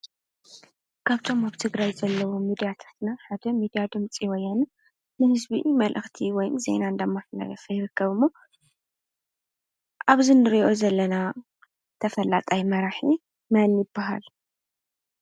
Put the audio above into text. ካብቶም ኣብ ትግራይ ዘለው ሚድያታትና ሓደ ሚድያ ድምፂ ወያነ እዩ። ንህዝቢ መልእኽቲ ወይ ዜና እናመሓላለፈ ይርከብ ኣሎ። ኣብዚ ንርእዮ ዘለና ተፈላጣይ መራሒ መን ይባሃል?